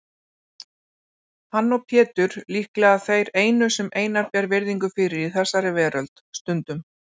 Hann og Pétur líklega þeir einu sem Einar ber virðingu fyrir í þessari veröld, stundum